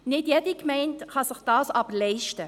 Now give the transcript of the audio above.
Nicht jede Gemeinde kann sich dies aber leisten.